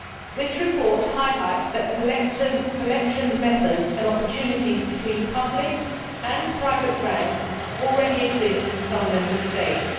This report highlights the fact that collection methods and opportunities between public and private banks already exist in some Member States.